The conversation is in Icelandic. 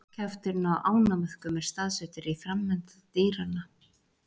Kjafturinn á ánamöðkum er staðsettur á framenda dýranna.